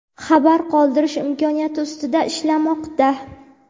xabar qoldirish imkoniyati ustida ishlamoqda.